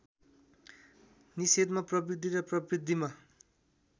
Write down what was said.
निषेधमा प्रवृत्ति र प्रवृत्तिमा